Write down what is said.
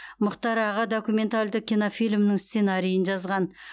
мұхтар аға документалды кинофильмінің сценарийін жазған